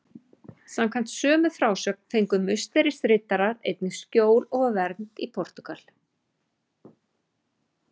Samkvæmt sömu frásögn fengu Musterisriddarar einnig skjól og vernd í Portúgal.